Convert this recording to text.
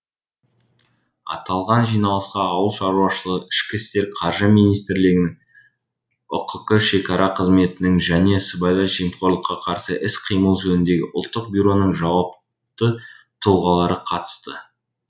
аталған жиналысқа ауыл шаруашы ішкі істер қаржы министрліктерінің ұқк шекара қызметінің және сыбайлас жемқорлыққа қарсы іс қимыл жөніндегі ұлттық бюроның жауапты тұлғалары қатысты